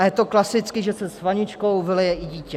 A je to klasicky, že se s vaničkou vylije i dítě.